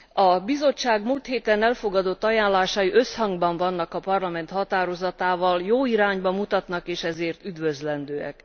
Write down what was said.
A Bizottság múlt héten elfogadott ajánlásai összhangban vannak a Parlament határozatával, jó irányba mutatnak, és ezért üdvözlendőek.